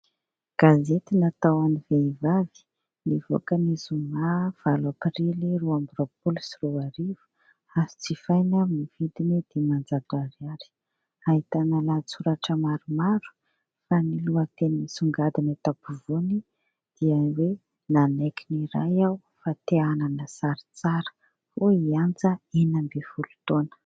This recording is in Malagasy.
Gazety natao an'ny vehivavy, nivoaka ny zoma valo aprily, roa amby roapolo sy roa arivo ary jifaina ny vidiny dimanjato ariary. Ahitana lahatsoratra maromaro fa ny lohateny nisongadina eto ampovoany dia hoe : "nanaiky niray aho fa te hanana sary tsara" hoy i Anja, enina ambin'ny folo taona.